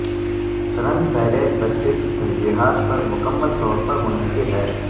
رنگ پیلیٹ بچے کی ترجیحات پر مکمل طور پر منحصر ہے